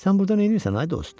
Sən burda neynirsən, ay dost?